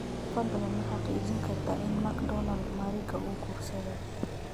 fadlan ma xaqiijin kartaa in macdonald mariga uu guursaday